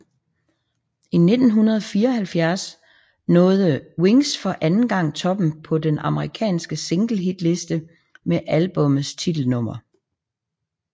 I 1974 nåede Wings for anden gang toppen på den amerikansk single hitliste med albummets titelnummer